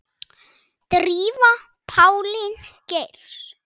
Drífa Pálín Geirs.